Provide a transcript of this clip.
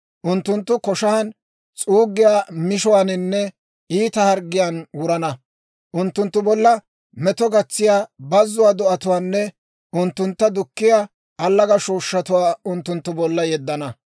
Unttunttu koshan, s'uuggiyaa mishuwaaninne iita harggiyaan wurana. Unttunttu bolla meto gatsiyaa bazzuwaa do'atuwaanne unttuntta dukkiyaa allaga shooshshatuwaa unttunttu bolla yeddana.